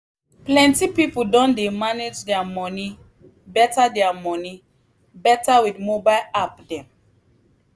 plenty people don dey manage their money better their money better with mobile app dem.